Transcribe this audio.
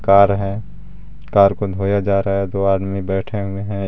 Car है car को धोया जा रहा है दो आदमी बैठे हुए हैं.